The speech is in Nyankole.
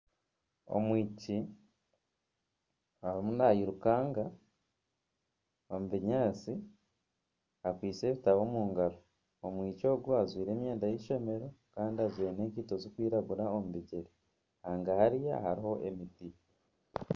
Omwishiki arimu nayirukanga omu binyaantsi akwaitse ebitabo omu ngaro . Omwishiki Ogu ajwaire emyenda y'eishomero Kandi ajwaire n'enkaito zirikwiragura omu bigyere. Hangahariya hariho emiti.